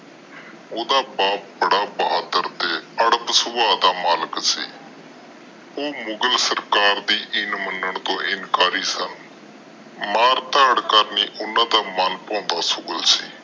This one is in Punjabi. ਓਹਦਾ ਬਾਪ ਬੜਾ ਬਹਾਦਰ ਤੇ ਰਡਬ ਸੂਬਾ ਦਾ ਮਲਿਕ ਸੀ। ਉਹ ਮੁਗ਼ਲ ਸਰਕਾਰ ਦੇ ਇਨ ਮਨਾਂ ਤੋਂ ਇਨਕਾਰੀ ਸਨ। ਮਾਰ ਤਾੜ ਕਰਨੀ ਓਹਨਾ ਦਾ ਮਨ ਪਹੋੰਦਾ ਸ਼ੁਗਲ ਸੀ।